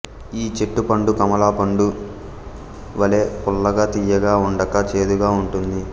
ఈ చెట్టు పండు కమలాపండు వలె పుల్లగా తీయగా ఉండక చేదుగా ఉంటుంది